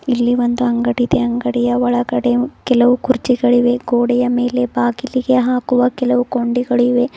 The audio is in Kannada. ಇಲ್ಲಿ ಒಂದು ಅಂಗಡಿ ಇದೆ ಅಂಗಡಿಯ ಒಳಗಡೆ ಕೆಲವು ಕುರ್ಚಿಗಳಿವೆ ಗೋಡೆಯ ಮೇಲೆ ಬಾಗಿಲಿಗೆ ಹಾಕುವ ಕೆಲವು ಕೊಂಡಿಗಳಿವೆ.